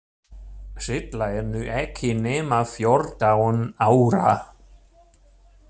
Silla er nú ekki nema fjórtán ára.